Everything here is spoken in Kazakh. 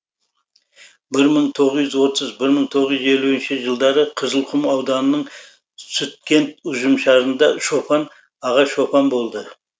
бір мың тоғыз жүз отыз бір мың тоғыз жүз елуінші жылдары қызылқұм ауданының сүткент ұжымшарында шопан аға шопан болды